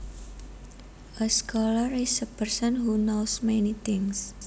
A scholar is a person who knows many things